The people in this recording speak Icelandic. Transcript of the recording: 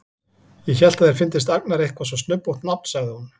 Ég hélt að þér fyndist Agnar eitthvað svo snubbótt nafn, sagði hún.